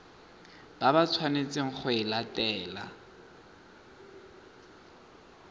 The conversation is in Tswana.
ba tshwanetseng go e latela